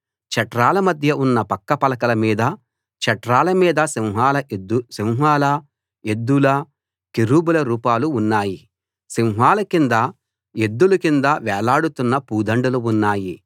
చట్రాల మధ్యలో ఉన్న పక్క పలకల మీదా చట్రాల మీదా సింహాల ఎద్దుల కెరూబుల రూపాలు ఉన్నాయి సింహాల కిందా ఎద్దుల కిందా వేలాడుతున్న పూదండలు ఉన్నాయి